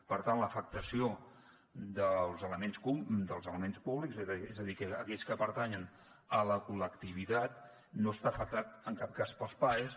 per tant l’afectació dels elements públics és a dir aquells que pertanyen a la col·lectivitat no estan afectats en cap cas pels paes